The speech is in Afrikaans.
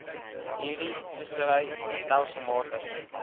hierdie vissery stelselmatig